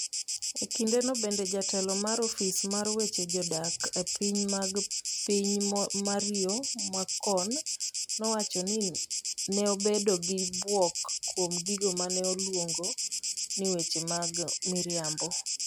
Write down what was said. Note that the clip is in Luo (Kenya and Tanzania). E kindeno bende, jatelo mar ofis mar weche jodak e pinje mag piny, Mario Morcone nowacho ni ne obedo gi bwok kuom gigo mane oluongo ni weche ma miriambo.